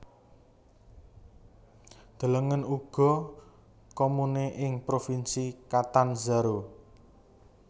Delengen uga Comune ing Provinsi Catanzaro